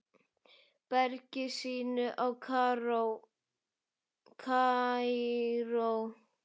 bergi sínu í Kaíró.